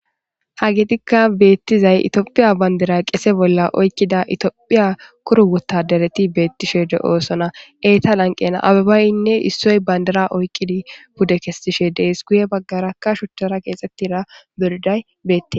Hageyikka beetizay itophphiya bandira qese bolla oykkidi de7iya topjphiya koyro wottaaderetibeetishe de7oosona.izeta lanqqen abebanne bandira oyqqidi pude kessishe deetes